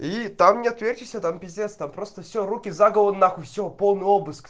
и там не отвертишься там пиздец там просто все руки за голову на хуй все полный обыск